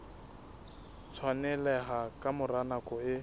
tshwaneleha ka mora nako e